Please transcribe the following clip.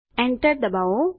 Enter દબાવો